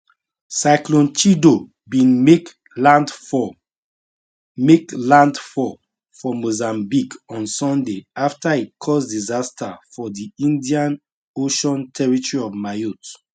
cyclone chido bin make landfall make landfall for mozambique on sunday afta e cause disaster for di indian ocean territory of mayotte